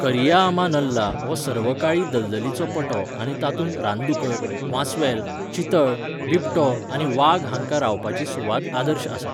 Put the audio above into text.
करिया आमा नल्ला हो सर्वकाळी दलदलीचो पटो आनी तातूंत रानदुकर, वांस्वेल, चितळ, बिबटो आनी वाग हांकां रावपाची सुवात आदर्शआसा.